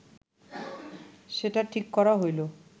সেটা ঠিক করা হইল